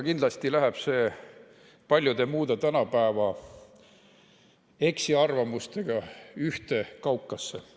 Kindlasti läheb see paljude muude tänapäeva eksiarvamustega ühte kaukasse.